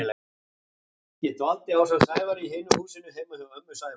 Ég dvaldi ásamt Sævari í hinu húsinu heima hjá ömmu Sævars.